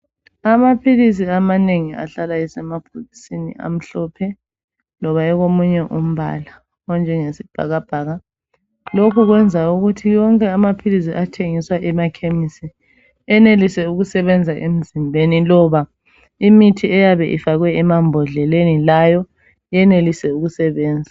Amaphilisi amanengi ahlala esemabhokisini amhlophe loba ekomunye umbala onjengesibhakabhaka. Lokhu kwenza ukuthi wonke amaphilisi athengiswa emakhemisi enelise ukusebenza emzimbeni loba imithi eyabe ifakwe emambodleleni yenelise ukusebenza.